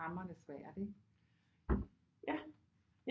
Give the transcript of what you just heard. Hamrende svært ikke